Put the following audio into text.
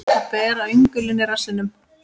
Að bera öngulinn í rassinum